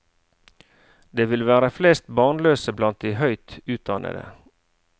Det vil være flest barnløse blant de høyt utdannede.